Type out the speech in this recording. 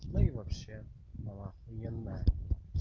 ну и вообще ахуенно